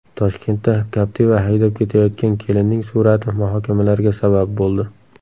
Toshkentda Captiva haydab ketayotgan kelinning surati muhokamalarga sabab bo‘ldi.